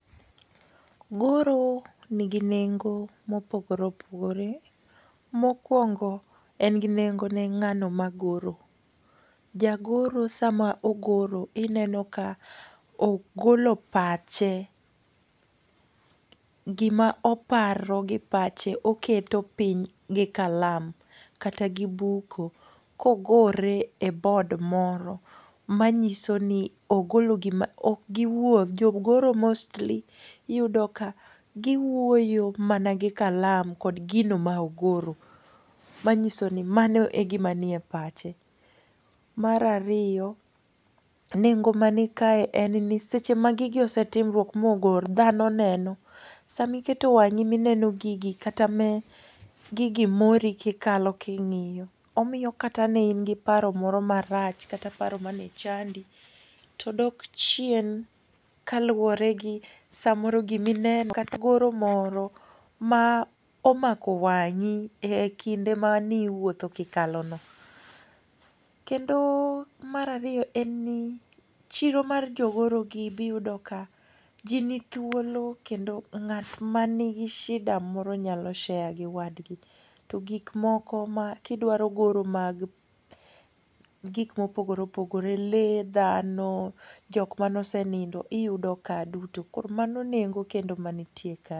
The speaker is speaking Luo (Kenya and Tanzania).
Goro nigi nengo mopogore opogore. Mokuongo en gi nengo ni ng'ano magoro. Jagoro sama ogoro, ineno ka ogolo pache. Gima oparo gi pache oketo piny gi kalam kata gi buko. Kogore e board moro, manyiso ni ogolo gima ok giwuo, jogoro mostly giwuoyo mana gi kalam kod gino ma ogoro. Manyiso ni mano e gima nie pache. Mar ariyo, nengo man kae en ni seche ma gigi osetimruok ma ogor dhano neno. Sama iketo wang'i mineno gigi kata ma gigi mori ma ikalo king'iyo, omiyo kata kane in gi paro moro marach kata mane chandi to dok chien kaluwore gi samoro gima ineno kata goro moro ma omako wang'i ekinde mane iwuotho kikalono. Kendo mar ariyo en ni chiro mar jogorogi be iyudo ka ji nithuolo kendo ng'at mani gi shida moro nyalo share gi wadgi. To gik moko kidwaro goro mag gik mopogore opogore , lee, dhano, jok mane osenindo iyudo kae duto. Koro mano nengo kendo mantie kae.